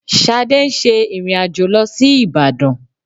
Ṣadé ń ṣe ìrìn-àjò lọ sí Ìbàdàn